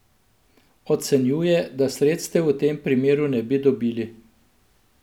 Ocenjuje, da sredstev v tem primeru ne bi dobili.